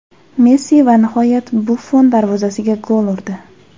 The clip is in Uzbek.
Messi va nihoyat Buffon darvozasiga gol urdi.